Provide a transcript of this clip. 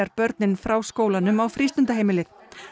börnin frá skólanum á frístundaheimilið